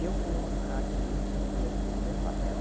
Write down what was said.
E eu fui uma a atriz, fui eu fiz o mesmo papel.